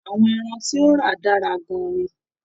Àwọn ẹran tí o rà dára gán-an ní.